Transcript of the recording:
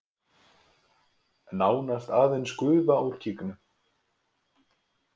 Nánast aðeins gufa úr gígnum